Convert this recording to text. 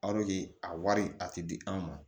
a wari a tɛ di anw ma